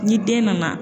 Ni den nana